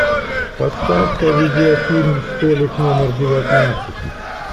поставь ка видеофильм столик номер девятнадцать